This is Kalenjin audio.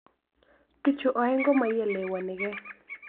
Bichu aeng' komaielewanike.